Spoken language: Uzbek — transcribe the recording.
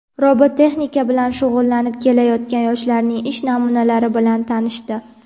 robototexnika bilan shug‘ullanib kelayotgan yoshlarning ish namunalari bilan tanishdi.